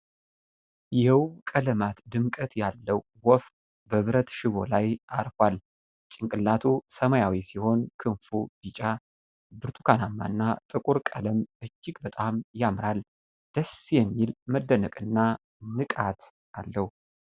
የውብ ቀለማት ድምቀት ያለው ወፍ በብረት ሽቦ ላይ አርፏል። ጭንቅላቱ ሰማያዊ ሲሆን፣ ክንፉ ቢጫ፣ ብርቱካንማና ጥቁር ቀለም እጅግ በጣም ያምራል። ደስ የሚል መደነቅና ንቃት አለው።